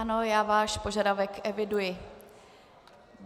Ano, já váš požadavek eviduji.